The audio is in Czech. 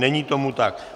Není tomu tak.